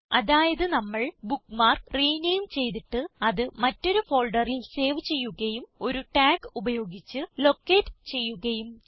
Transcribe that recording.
അതായത് നമ്മൾ bookmark rename ചെയ്തിട്ട് അത് മറ്റൊരു ഫോൾഡറിൽ സേവ് ചെയ്യുകയും ഒരു ടാഗ് ഉപയോഗിച്ച് ലൊക്കേറ്റ് ചെയ്യുകയും ചെയ്തു